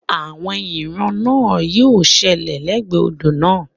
Àwọn ìran náà yí ó ṣẹlẹ̀ lẹ́gbẹ̀ẹ́ odò náà